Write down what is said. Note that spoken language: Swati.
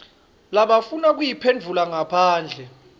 labafuna kuyiphendvula ngaphandle